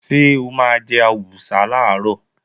Ṣé o máa jẹ àwùsá làárọ̀?